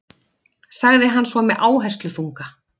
sagði hann svo með áhersluþunga.